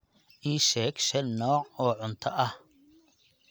Iisheg Shan nooc oo cuta ahh